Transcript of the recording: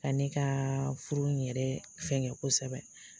Ka ne ka furu in yɛrɛ fɛnkɛ kosɛbɛ.